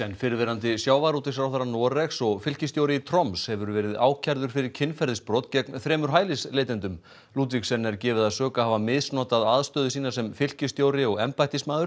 fyrrverandi sjávarútvegsráðherra Noregs og fylkisstjóri í Troms hefur verið ákærður fyrir kynferðisbrot gegn þremur hælisleitendum ludvigsen er gefið að sök að hafa misnotað aðstöðu sína sem fylkisstjóri og embættismaður